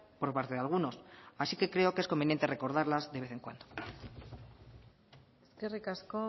por parte de algunos así que creo que es conveniente recordarlas de vez en cuando eskerrik asko